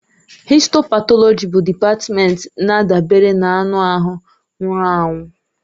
Histo patọlọji bụ dịpatmenti na-adabere na anụ ahụ nwụrụ anwụ.